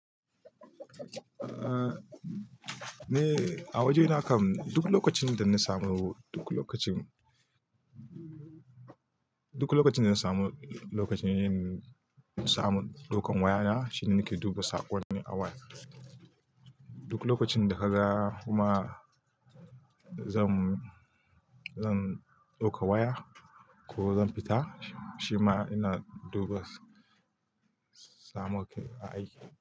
Eh, a waje na kam duk lokacin da na samu, duk lokacin, duk lokacin da na samu lokacin yin samun ɗaukan waya na shine nake duba saƙonni a waya. Duk lokacin da ka ga kuma zan, zan ɗauka waya ko zan fita shi ma ina duba samun aiki.